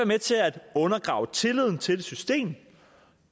med til at undergrave tilliden til et system